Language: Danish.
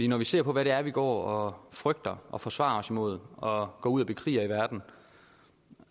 når vi ser på hvad vi går og frygter og forsvarer os imod og går ud og bekriger i verden